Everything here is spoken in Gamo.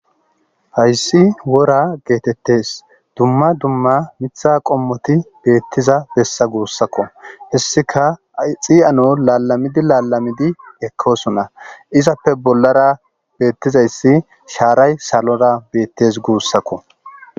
hayssi wora geetettes dumma dumma mitha qommoti beettiza bessa guussakko hessika xi7ano laalamidi laalamidi ekkoosona izappe bollara beettizayssi shaaray salora beettes guussakko